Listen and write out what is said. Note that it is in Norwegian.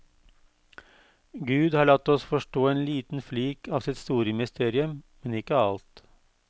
Gud har latt oss forstå en liten flik av sitt store mysterium, men ikke alt.